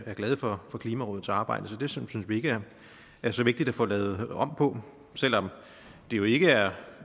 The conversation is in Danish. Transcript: er glade for for klimarådets arbejde så det synes vi ikke er så vigtigt at få lavet om på selv om det jo ikke er